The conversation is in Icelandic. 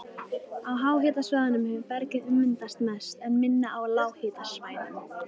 Á háhitasvæðunum hefur bergið ummyndast mest, en minna á lághitasvæðum.